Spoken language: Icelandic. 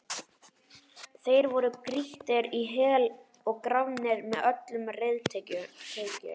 Þeir voru grýttir í hel og grafnir með öllum reiðtygjum.